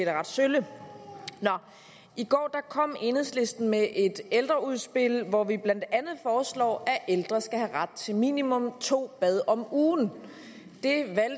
er ret sølle i går kom enhedslisten med et ældreudspil hvor vi blandt andet foreslår at ældre skal have ret til minimum to bade om ugen